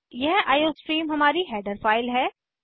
यह आईओस्ट्रीम हमारी header file है